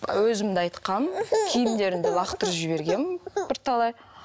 өзім де айтқанмын киімдерін де лақтырып жібергенмін бірталай